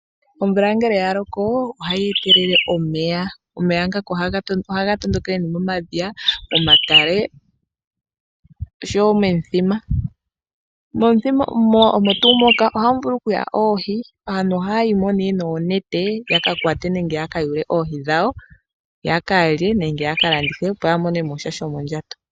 Omvula ngele ya loko ohayi etelele omeya. Omeya ngaka ohaga tondokele momadhiya, momatale nosho wo momithima. Momithima omo tuu moka ohamu vulu okuya oohi. Aantu ohaya yi mo noonete yaka kwate nenge yaka yule oohi dhawo, ya ka lye nenge ya ka landithe, opo ya mone mo sha shomondjato.